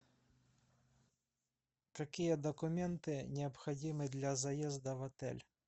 какие документы необходимы для заезда в отель